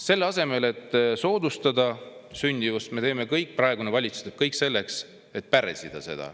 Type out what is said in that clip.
Selle asemel, et sündimust soodustada, teeb praegune valitsus kõik selleks, et seda pärssida.